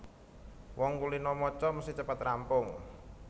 Wong kulina maca mesthi cepet rampung